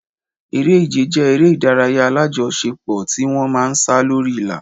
Eré-ìje jẹ́ eré ìdárayá alájọṣe pò tí wọ́n ma ń sá lórí ìlà.